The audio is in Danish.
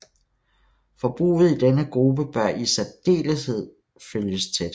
Forbruget i denne gruppe bør i særdeleshed følges tæt